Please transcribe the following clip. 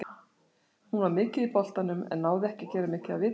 Hún var mikið í boltanum, en náði ekki að gera mikið af viti.